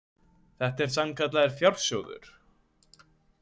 Þetta er sannkallaður fjársjóður.